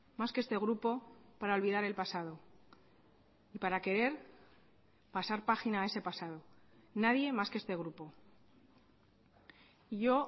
más que este grupo para olvidar el pasado y para querer pasar página a ese pasado nadie más que este grupo y yo